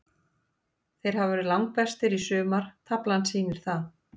Þeir hafa verið langbestir í sumar, taflan sýnir það.